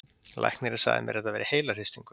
Læknirinn sagði mér að þetta væri heilahristingur.